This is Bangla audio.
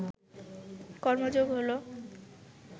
কর্মযোগ হল